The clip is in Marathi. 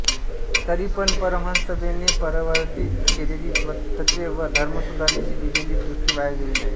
तरीपण परमहंससभेने प्रवर्तित केलेली तत्त्वे व धर्मसुधारणेची दिलेली दृष्टी वाया गेली नाही